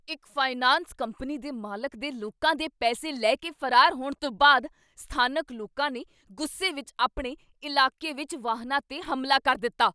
ਇੱਕ finance company ਦੇ ਮਾਲਕ ਦੇ ਲੋਕਾਂ ਦੇ ਪੈਸੇ ਲੈ ਕੇ ਫਰਾਰ ਹੋਣ ਤੋਂ ਬਾਅਦ ਸਥਾਨਕ ਲੋਕਾਂ ਨੇ ਗੁੱਸੇ ਵਿਚ ਆਪਣੇ ਇਲਾਕੇ ਵਿੱਚ ਵਾਹਨਾਂ 'ਤੇ ਹਮਲਾ ਕਰ ਦਿੱਤਾ।